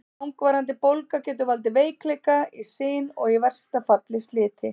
Langvarandi bólga getur valdið veikleika í sin og í versta falli sliti.